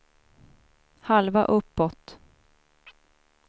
halva uppåt